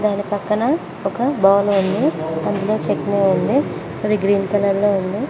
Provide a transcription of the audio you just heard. దాని పక్కన ఒక బౌల్ ఉంది అందులో చేట్నీ ఉంది అది గ్రీన్ కలర్ లో ఉంది.